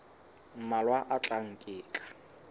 mmalwa a tlang ke tla